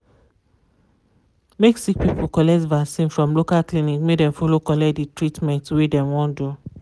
make sick people collect vaccin from local clinic make dem follow collect de treatment wey dem wan do.